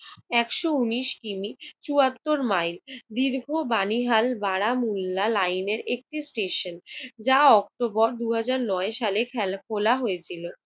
একশ উনিশ কি. মি. চুয়াত্তর মাইল দীর্ঘ বানিহাল বারা মূল্লা লাইন এর একটি স্টেশন। যা অক্টোবর দুই হাজার নয় সালে খেল খোলা হয়েছিল।